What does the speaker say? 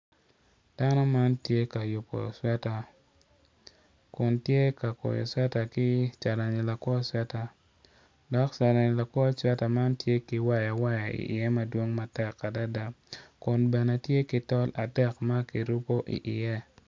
Dano man tye ka yubo cweta kun tye ka kwoyo cweta ki calani lakwor cweta ma carani lakwo cwera man tye ki waya waya mo madwong i ye matek adada, kun bene tye ki tol atek makirubo i ye.